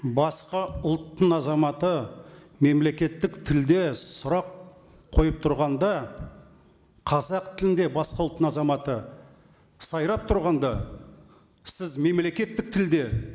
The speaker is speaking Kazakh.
басқа ұлттың азаматы мемлекеттік тілде сұрақ қойып тұрғанда қазақ тілінде басқа ұлттың азаматы сайрап тұрғанда сіз мемлекеттік тілде